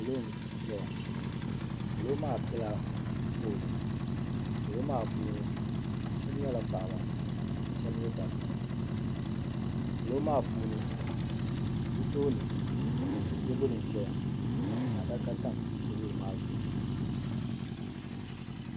salo n ʒɛya salo maa piɛla fooli salo maa puuni shab nyɛla paɣaba ka shab nyɛ dabba salo maa puuni bi tooni teebuli nʒɛya ka adaka tam teebuli maa zuɣu